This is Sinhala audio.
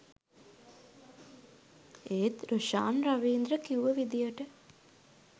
ඒත් රොෂාන් රවීන්ද්‍ර කිව්ව විදියට